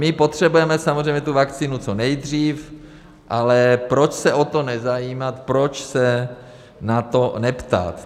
My potřebujeme samozřejmě tu vakcínu co nejdřív, ale proč se o to nezajímat, proč se na to neptat.